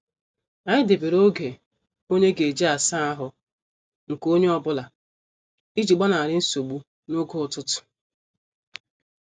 Anyị debere oge onye ga-eji asaa ahụ nke onye ọ bụla iji gbanari nsogbu n' oge ụtụtụ.